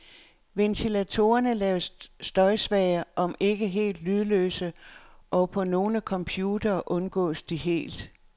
Ventilatorerne laves støjsvage, omend ikke helt lydløse, og på nogle computere undgås de helt.